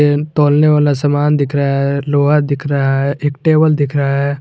तोलने वाला समान दिख रहा है लोहा दिख रहा है एक टेबल दिख रहा है।